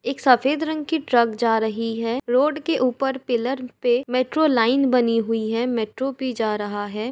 एक सफ़ेद रंग की ट्रक जा रही है रोड के ऊपर पिलर पे मेट्रो लाइन बनी हुई है मेट्रो भी जा रहा है |